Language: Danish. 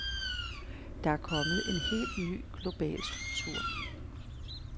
Der er kommet en helt ny global struktur.